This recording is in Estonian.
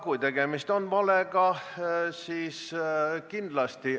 Kui tegemist on valega, siis kindlasti.